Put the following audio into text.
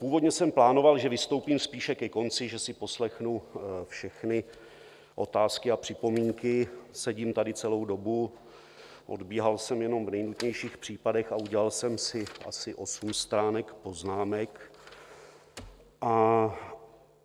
Původně jsem plánoval, že vystoupím spíše ke konci, že si poslechnu všechny otázky a připomínky, sedím tady celou dobu, odbíhal jsem jenom v nejnutnějších případech a udělal jsem si asi osm stránek poznámek.